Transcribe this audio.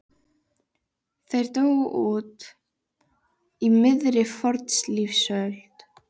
Þeir dóu út upp úr miðri fornlífsöld.